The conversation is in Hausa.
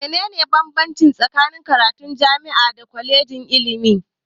Me ne ne bambanci tsakanin karatun jami'a da kwalejin ilimi?